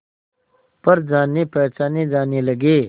पर जानेपहचाने जाने लगे